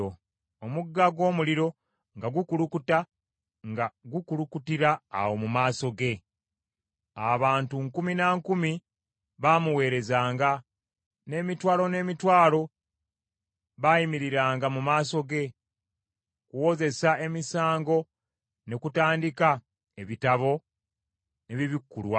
Omugga gw’omuliro nga gukulukuta, nga gukulukutira awo mu maaso ge. Abantu nkumi na nkumi baamuweerezanga, n’emitwalo n’emitwalo baayimiriranga mu maaso ge. Okuwozesa emisango ne kutandika, ebitabo ne bibikkulwa.